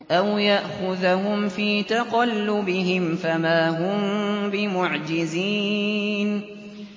أَوْ يَأْخُذَهُمْ فِي تَقَلُّبِهِمْ فَمَا هُم بِمُعْجِزِينَ